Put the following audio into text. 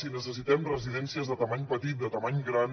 si necessitem residències de mida petita de mida gran